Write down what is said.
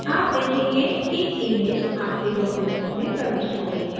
आप देखेंगे कि image आपके document में प्रविष्ट हो गई है